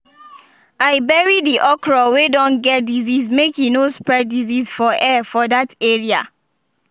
i bury the okra wey don get disease make e no spread disease for air for that area.